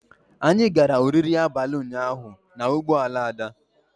Anyị gara oriri abalị ụnyaahụ na ụgbọ ala Ada.